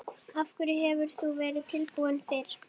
Af hverju hefur þú ekki verið tilbúin fyrr?